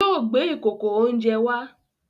Yóò gbé ìkòkò-oúnjẹ wá!